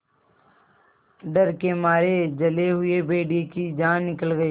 डर के मारे जले हुए भेड़िए की जान निकल गई